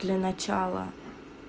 для начала